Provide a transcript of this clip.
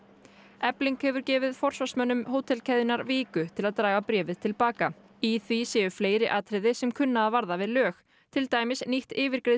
efling hefur gefið forsvarsmönnum viku til að draga bréfið til baka í því séu fleiri atriði sem kunna að varða við lög til dæmis nýtt